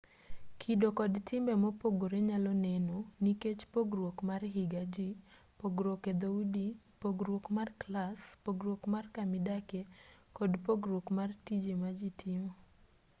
kido kod timbe mopogre nyalo neno nikech pogruok mar higa jii pogruok edhoudi pogruok mar clas pogruok mar kamidakie kod pogruok mar tije maji timo